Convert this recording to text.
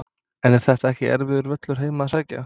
En er þetta ekki erfiður völlur heim að sækja?